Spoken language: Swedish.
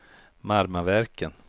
Marmaverken